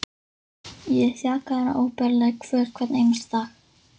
Ég er þjakaður af óbærilegri kvöl hvern einasta dag.